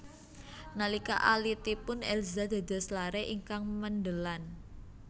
Nalika alitipun Elza dados lare ingkang mendelan